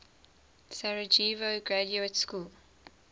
sarajevo graduate school